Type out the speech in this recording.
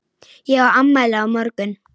Ég á afmæli á morgun.